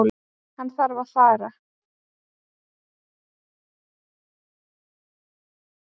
Hann þarf að fara.